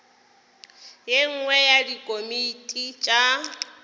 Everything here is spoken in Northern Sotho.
ye nngwe ya dikomiti tša